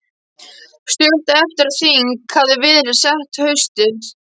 Stuttu eftir að þing hafði verið sett haustið